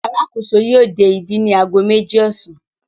Alákòóso yóò dé ibí ní ago méjì ọ̀sán.